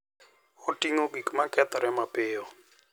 Oting'o gik ma kethore mapiyo.